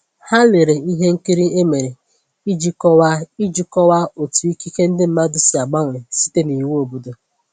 Ha lere ihe nkiri e mere iji kọwaa iji kọwaa otu ikike ndi mmadụ si agbanwe site n’iwu obodo.